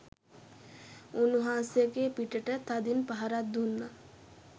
උන්වහන්සේගේ පිටට තදින් පහරක් දුන්නා.